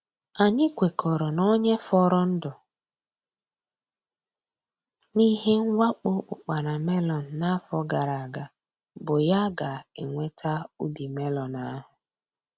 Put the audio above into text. Anyị kwekọrọ na onye fọrọ ndụ n’ihe mwakpo ụkpana melon n’afọ gara aga bụ ya ga-enweta ubi melon ahụ.